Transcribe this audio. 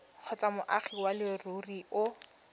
kgotsa moagi wa leruri o